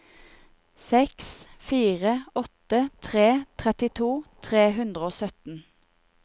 seks fire åtte tre trettito tre hundre og sytten